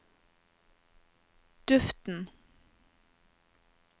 duften